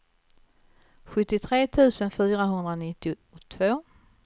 sjuttiotre tusen fyrahundranittiotvå